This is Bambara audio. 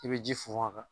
I bɛ ji funfun a kan